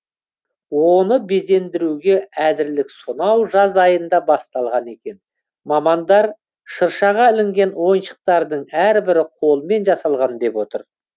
оны безендіруге әзірлік сонау жаз айында басталған екен мамандар шыршаға ілінген ойыншықтардың әрбірі қолмен жасалған деп отыр